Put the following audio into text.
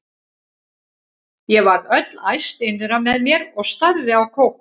Ég varð öll æst innra með mér og starði á Kókó.